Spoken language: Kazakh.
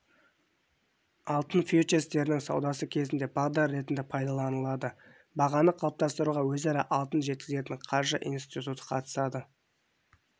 алтын фьючерстерінің саудасы кезінде бағдар ретінде пайдаланылады бағаны қалыптастыруға өзара алтын жеткізетін қаржы институты қатысады